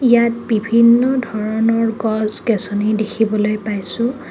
ইয়াত বিভিন্ন ধৰণৰ গছ গেছনী দেখিবলৈ পাইছোঁ.